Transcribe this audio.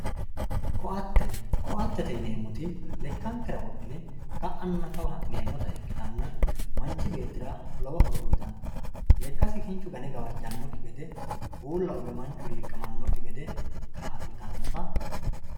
ko"atte ko"attete yineemoti lekkankera wodhine ka"anna kawa ha'neemota ikkitanna manchi beettira lowo horo uyiitanno lekkasi kinchu gane gawajjanokki gede, uulla uwe manchu hiiqamannokki gede kaa'litanota